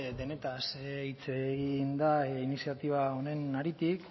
denez hitz egin da iniziatiba honen haritik